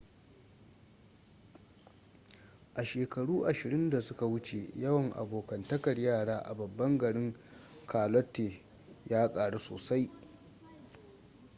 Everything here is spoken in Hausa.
a shekaru 20 da suka wuce yawan abokantakar yara a babban garin charlotte ya karu sosai